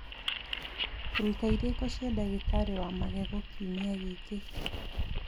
rũta irĩko cia ndagĩtarĩ wa magego kiumia gĩkĩ